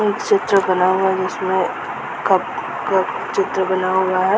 एक चित्र बना हुआ है जिसमे कप का चित्र बना हुआ है।